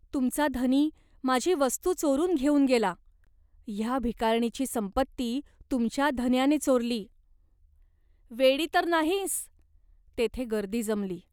तुमचा धनी माझी वस्तू चोरून घेऊन आला. ह्या भिकारणीची संपत्ती तुमच्या धन्याने चोरली." "वेडी तर नाहीस ?" तेथे गर्दी जमली.